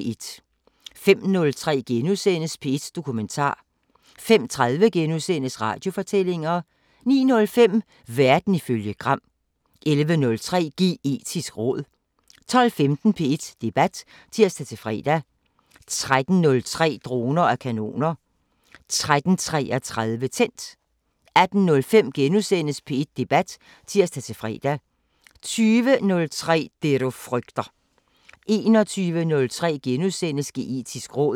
05:03: P1 Dokumentar * 05:30: Radiofortællinger * 09:05: Verden ifølge Gram 11:03: Geetisk råd 12:15: P1 Debat (tir-fre) 13:03: Droner og kanoner 13:33: Tændt 18:05: P1 Debat *(tir-fre) 20:03: Det du frygter 21:03: Geetisk råd *